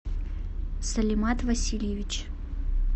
салимат васильевич